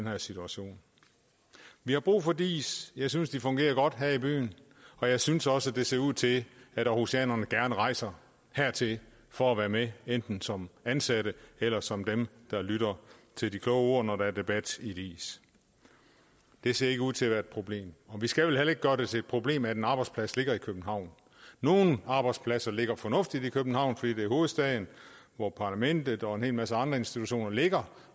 her situation vi har brug for diis jeg synes de fungerer godt her i byen og jeg synes også at det ser ud til at århusianerne gerne rejser hertil for at være med enten som ansatte eller som dem der lytter til de kloge ord når der er debat i diis det ser ikke ud til at være et problem vi skal vel heller ikke gøre det til et problem at en arbejdsplads ligger i københavn nogle arbejdspladser ligger fornuftigt i københavn fordi det er hovedstaden hvor parlamentet og en hel masse andre institutioner ligger